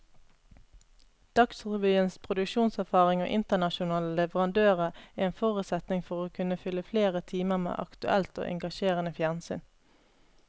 Dagsrevyens produksjonserfaring og internasjonale leverandører er en forutsetning for å kunne fylle flere timer med aktuelt og engasjerende fjernsyn.